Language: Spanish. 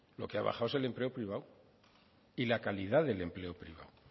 lo que ha bajado es el empleo privado y la calidad del empleo privado